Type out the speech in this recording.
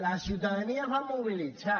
la ciutadania es va mobilitzar